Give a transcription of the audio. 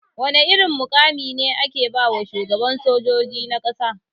Wana mai irin mukami ne ake bawa shugaban sojoji na ƙasa?